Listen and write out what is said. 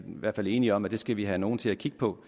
hvert fald enige om at vi skal have nogen til at kigge på